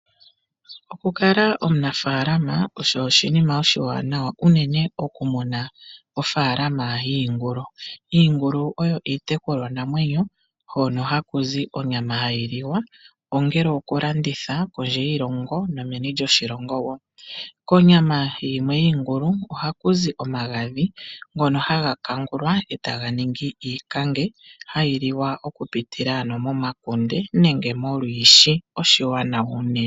Okukala omunafaalama osho oshinima oshiwanawa unene okumuna ofaalama yiingulu. Iingulu oyo iitekulwanamwenyo hono haku zi onyama hayi liwa ongele okulanditha kondje yiilongo nomeni lyiilongo woo. Konyama yimwe yiingulu ohaku zi omagadhi ngono haga kangulwa etaga ningi iikange hayi liwa okupitila ano momakunde nenge molwiishi, oshiwanawa unene.